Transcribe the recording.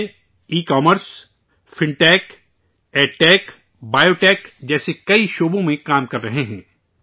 یہ e commerce, fintech, edtech, biotech جیسے کئی شعبوں میں کام کررہے ہیں